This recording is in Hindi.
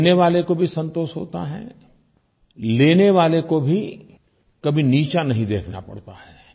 देने वाले को भी संतोष होता है लेने वाले को भी कभी नीचा नहीं देखना पड़ता है